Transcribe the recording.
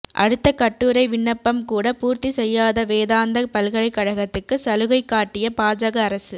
அடுத்த கட்டுரைவிண்ணப்பம் கூட பூர்த்தி செய்யாத வேதாந்தா பல்கலைக்கழகத்துக்கு சலுகைக் காட்டிய பாஜக அரசு